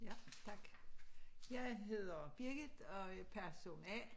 Ja tak jeg hedder Birgit og er person A